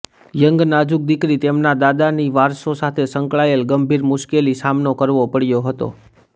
young નાજુક છોકરી તેમના દાદા ની વારસો સાથે સંકળાયેલ ગંભીર મુશ્કેલી સામનો કરવો પડ્યો હતો